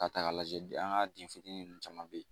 Ka taa k'a lajɛ an ka ninnu caman bɛ yen